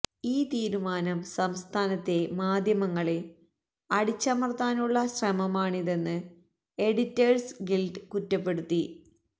ഈ തീരുമാനം സംസ്ഥാനത്തെ മാധ്യമങ്ങളെ അടിച്ചമര്ത്താനുള്ള ശ്രമമാണിതെന്ന് എഡിറ്റേഴ്സ് ഗില്ഡ് കുറ്റപ്പെടുത്തി